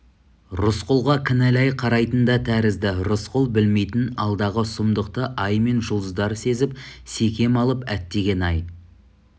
рысқұлға кінәлай қарайтын да тәрізді рысқұл білмейтін алдағы сұмдықты ай мен жұлдыздар сезіп секем алып әттеген-ай